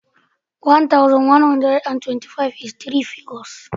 One thousand, one hundred and twenty-five is three figures ne.